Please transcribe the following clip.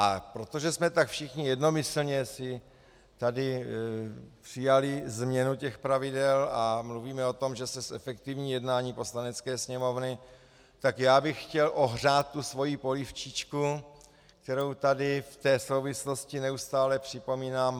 A protože jsme tak všichni jednomyslně si tady přijali změnu těch pravidel a mluvíme o tom, že se zefektivní jednání Poslanecké sněmovny, tak já bych chtěl ohřát tu svoji polívčičku, kterou tady v té souvislosti neustále připomínám.